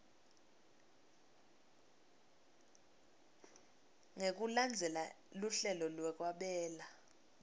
ngekulandzela luhlelo lwekwabela